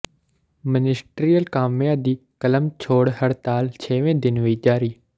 ministerial ਕਾਮਿਆਂ ਦੀ ਕਲਮ ਛੋੜ ਹੜਤਾਲ ਛੇਵੇਂ ਦਿਨ ਵੀ ਜਾਰੀ